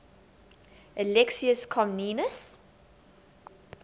alexius comnenus